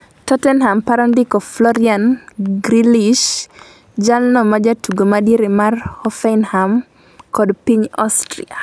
Tottenham paro ndiko Florian Grillischt. Jalno majatugo madiere mar Hoffenheim kod piny Ostria